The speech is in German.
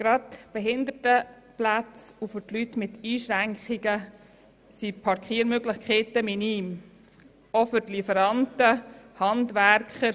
Gerade für Behinderte und Leute mit Einschränkungen sind die Möglichkeiten minim, auch für Lieferanten und Handwerker.